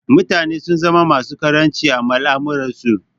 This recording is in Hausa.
Mutane su zama masu karamci a mu'amalarsu.